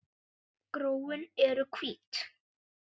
Gróin eru hvít.